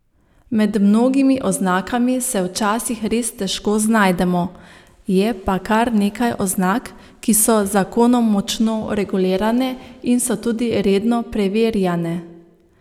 Med mnogimi oznakami se včasih res težko znajdemo, je pa kar nekaj oznak, ki so z zakonom močno regulirane in so tudi redno preverjane.